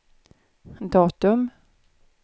datum